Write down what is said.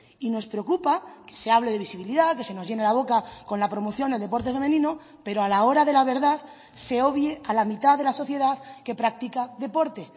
y nos preocupa que se hable de visibilidad que se nos llene la boca con la promoción del deporte femenino pero a la hora de la verdad se obvie a la mitad de la sociedad que practica deporte